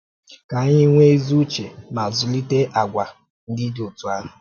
Ka anyị nwee ezi ùchè ma zụlite àgwà ndị dị otú ahụ.